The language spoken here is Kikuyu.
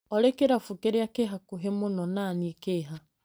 Olĩ kĩrabu kĩria kĩ hakuhĩ mũno na niĩ kĩ ha?